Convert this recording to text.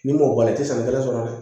N'i m'o bɔ a la i tɛ san kelen sɔrɔ dɛ